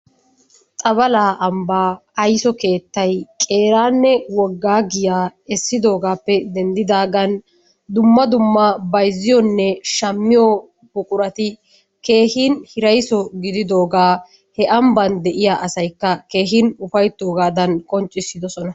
Xabalaa ambbaa ayiso keettay qeeraanne qoggaa giyaa essidoogaappe denddidaagan dumma dumma bayizziyonne shammiyo buqurati keehin hirayiso gididoogaa he ambban de'iya asayikka keehin ufayittoogaadan qonccissidosona.